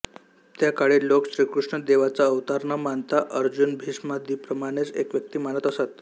त्या काळी लोक श्रीकृष्ण देवाचा अवतार न मानता अर्जुनभीष्मादींप्रमाणेच एक व्यक्ती मानत असत